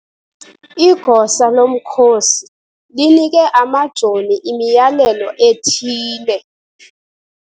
Igosa lomkhosi linike amajoni imiyalelo ethile.